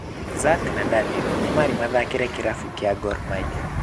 Zack na Daniel nĩmarĩ mathakĩra kĩrabu kĩa Gor Mahia.